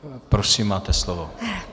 Prosím, máte slovo.